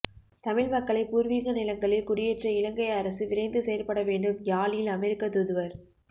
தமிழ் மக்களை பூர்வீக நிலங்களில் குடியேற்ற இலங்கை அரசு விரைந்து செயற்படவேண்டும் யாழில் அமெரிக்க தூதுவர்